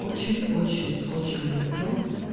очень очень очень люблю